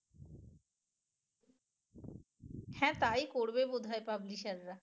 হ্যা তাই করবে বোধ হয় publisher রা